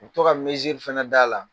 U bɛ to ka fɛnɛ da la.